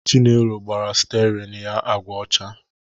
Chinelo gbara stiarin ya agwa ọcha